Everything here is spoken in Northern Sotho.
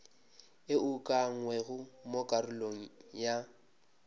e ukangwego mo karolong ya